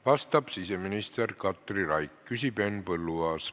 Vastab siseminister Katri Raik, küsib Henn Põlluaas.